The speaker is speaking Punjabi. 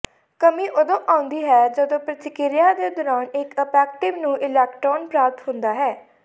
ਕਮੀ ਉਦੋਂ ਆਉਂਦੀ ਹੈ ਜਦੋਂ ਪ੍ਰਤੀਕ੍ਰਿਆ ਦੇ ਦੌਰਾਨ ਇੱਕ ਐਂਪੈਕਟਿਵ ਨੂੰ ਇਲੈਕਟ੍ਰੌਨ ਪ੍ਰਾਪਤ ਹੁੰਦਾ ਹੈ